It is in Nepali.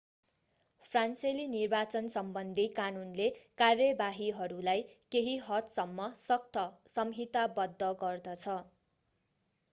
फ्रान्सेली निर्वाचनसम्बन्धी कानूनले कार्यवाहीहरूलाई केही हदसम्म सख्त संहिताबद्ध गर्दछ